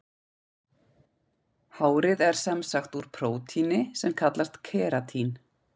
Hárið er sem sagt úr prótíni sem kallast keratín.